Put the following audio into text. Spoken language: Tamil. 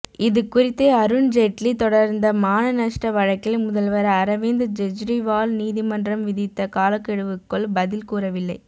இதுகுறித்து அருண்ஜெட்லி தொடர்ந்த மான நஷ்ட வழக்கில் முதல்வர் அரவிந்த் கெஜ்ரிவால் நீதிமன்றம் விதித்த காலக்கெடுவுக்குள் பதில் கூறவில்லை